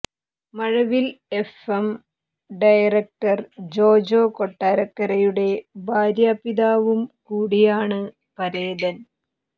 മഴവിൽ FM director Jojo കൊട്ടാരക്കരയുടെ ഭാര്യാ പിതാവും കൂടിയാണ് പരേതൻ